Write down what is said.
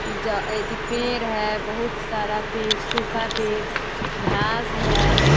जो अथि पेंड़ है बहुत सारा पेड़ सूखा पेड़ घांस है।